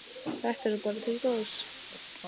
Þetta er bara til góðs.